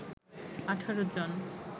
১৮ জন